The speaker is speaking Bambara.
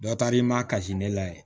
Dɔ taara i ma kasi ne la yen